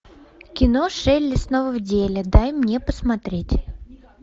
кино шелли снова в деле дай мне посмотреть